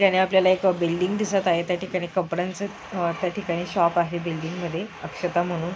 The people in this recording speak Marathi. जाने आपल्याला बिल्डिंग दिसत आहे त्याने कपड्यांच आ र्‍या ठिकाणी शॉप आहे बिल्डिंग मध्ये अक्षता म्हणून.